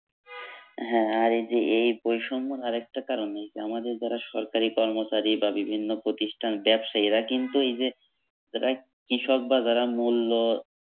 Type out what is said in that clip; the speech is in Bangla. হ্যাঁ আর এই যে এই বৈষম্যর আর একটা কারণ এই যে আমাদের যারা সরকারি কর্মচারী বা বিভিন্ন প্রতিষ্ঠান ব্যাবসায়ী এরা কিন্তু এই যে কৃষক বা যারা মূল্য